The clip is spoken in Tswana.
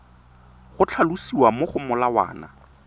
go tlhalosiwa mo go molawana